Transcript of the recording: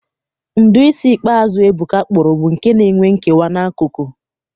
Ụdị isi ikpeazụ Ebuka kpụrụ bụ nke n'enwe nkewa n'akụkụ